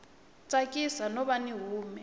tsakisi no va yi hume